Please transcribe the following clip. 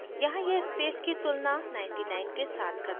यहाँ यह space की तुलना 99 के साथ करता है